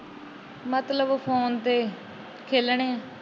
ਮਤਲਬ ਫੋਨ ਤੇ ਖੇਲਣੇ ਆ।